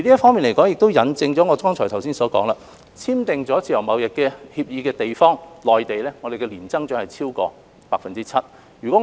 這亦引證我剛才所言，與香港簽訂自由貿易協定的地方，例如內地，我們的年增長是超過 7%。